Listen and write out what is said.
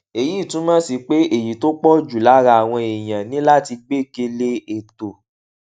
èyí túmò sí pé èyí tó pò jù lára àwọn èèyàn ní láti gbékè lé ètò